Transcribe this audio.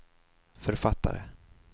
författare